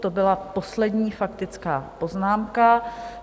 To byla poslední faktická poznámka.